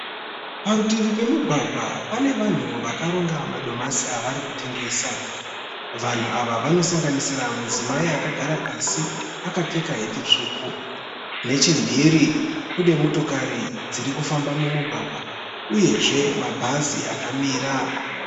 Parutivi pemugwagwa pane vanhu vakaronga madomasi avari kutengesa. Vanhu ava vanosanganisira mudzimai akagara pasi akapfeka heti tsvuku. Neche mhiri kune motokari dziri kufamba mumugwagwa uyezve mabhazi akamira.